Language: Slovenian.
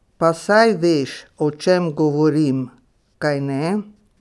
Pa saj veš, o čem govorim, kajne?